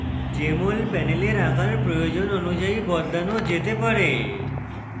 jmol panel আকার প্রয়োজন অনুযায়ী বদলানো যেতে পারে